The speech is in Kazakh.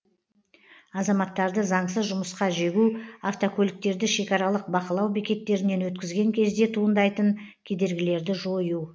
азаматтарды заңсыз жұмысқа жегу автокөліктерді шекаралық бақылау бекеттерінен өткізген кезде туындайтын кедергілерді жою